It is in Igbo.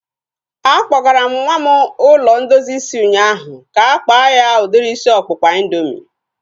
A kpọgara m nwa m ụlọ ndozi isi ụnyaahụ ka-akpa ya udiri isi ọkpụkpa indoomị